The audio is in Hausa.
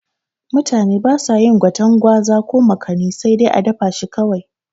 Mutane basa yin gwaten gwaza ko makani sai dai a dafa shi kawai